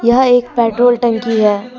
यह एक पेट्रोल टंकी है।